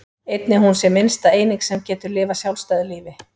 Einnig að hún sé minnsta eining sem getur lifað sjálfstæðu lífi.